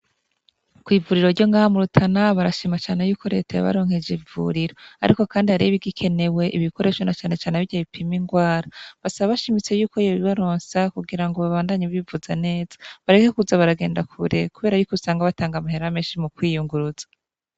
Kw'ivuriro ryo nga murutana barashimacane yuko reteye baronkeje ivuriro, ariko, kandi haribigikenewe ikoresho na canecane abirya bipima ingwara basa bashimitse yuko yobibaronsa kugira ngo babandanye bivuza neza bareke kuza baragenda kure, kubera bikusanga batanga amahera menshi mu kwiyunguruza.